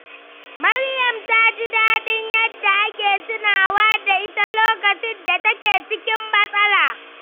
Maryam ta ji daɗin yadda ake tunawa da ita lokacin da take cikin matsala.